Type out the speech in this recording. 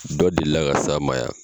Dɔ deli ka s'an ma yan